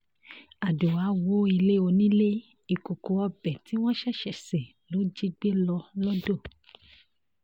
àdùá wọ ilé onílé ìkòkò ọbẹ̀ tí wọ́n ṣẹ̀ṣẹ̀ ṣe ló jí gbé lọ lodò